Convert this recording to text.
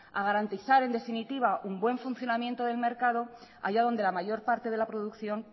a garantizar en definitiva un buen funcionamiento del mercado allá donde la mayor parte de la producción